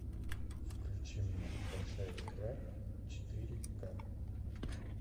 включи мне большая игра четыре ка